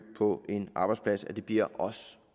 på en arbejdsplads sådan at det bliver os